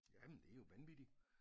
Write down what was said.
Ja men det er jo vanvittig